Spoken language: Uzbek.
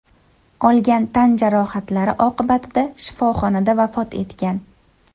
olgan tan jarohatlari oqibatida shifoxonada vafot etgan.